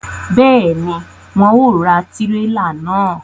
Béèni, wọn ò ra tirela náà